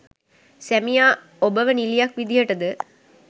සැමියා ඔබව නිළියක් විදියට ද